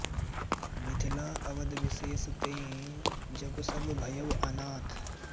मिथिला अवध बिसेष तें जगु सब भयउ अनाथ